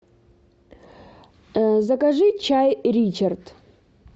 закажи чай ричард